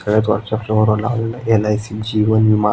सगळ्यात वरच्या फलोर ला एल.आय.सी. जीवन विमा--